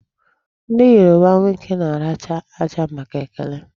Ndị Yoruba nwoke na-aracha aja màkà ekele.